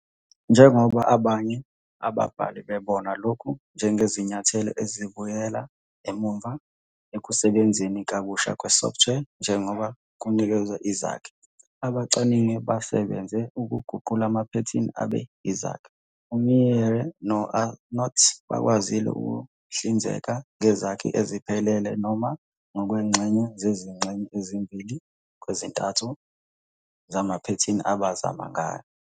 Njengoba abanye ababhali bebona lokhu njengesinyathelo esibuyela emuva ekusebenzeni kabusha kwesoftware njengoba kunikezwe izakhi, abacwaningi basebenze ukuguqula amaphethini abe yizakhi. UMeyer no-Arnout bakwazile ukuhlinzeka ngezakhi eziphelele noma ngokwengxenye zezingxenye ezimbili kwezintathu zamaphethini abazama ngayo.